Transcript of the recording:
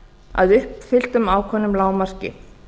að uppfylltu ákveðnu lágmarki